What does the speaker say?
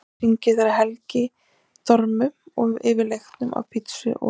Hann hringir þegar við Helgi dormum yfir leifum af pizzu og